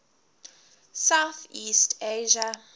south east asia